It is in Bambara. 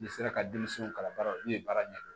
N'i sera ka denmisɛnw kalan baara ne ye baara ɲɛ dɔn